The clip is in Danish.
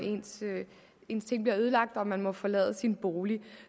ens ting bliver ødelagt og man må forlade sin bolig